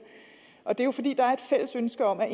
og det er jo fordi der er et fælles ønske om at